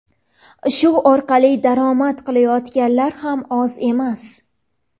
Shu orqali daromad qilayotganlar ham oz emas.